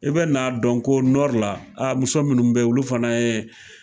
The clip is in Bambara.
I be n'a dɔn ko nɔri la a muso munnu be yen olu fana ye